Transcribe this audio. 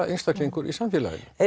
einstaklingur í samfélaginu